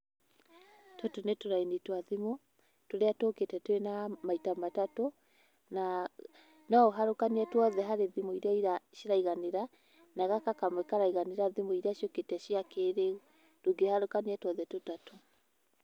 Tũtũ nĩ tũraini twa thimũ tũrĩa tũkĩte twĩ na maita matatu, na no ũharũkanie tũothe harĩ thimũ irĩa ciraiganĩra, na gaka kamwe karaiganĩra thimũ ĩria ciũkĩte cia kĩrĩu, ndũngĩharũkania tũothe tũtatũ.